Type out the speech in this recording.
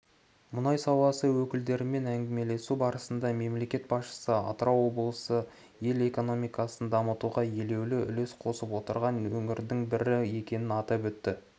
мұнай саласы өкілдерімен әңгімелесу барысында мемлекет басшысы атырау облысы ел экономикасын дамытуға елеулі үлес қосып отырған өңірдің бірі екенін атап өтті